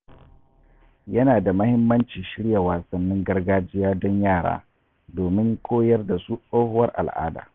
Ya na da muhimmanci shirya wasannin gargajiya don yara, domin koyar da su tsohuwar al'ada.